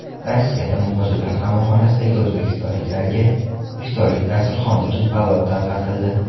Rossiyada muhojirlar qamoqxonasidagi o‘zbekistonliklarga iftorlik dasturxoni uchun palov tarqatildi .